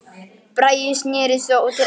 Bragi snérist þó til hægri.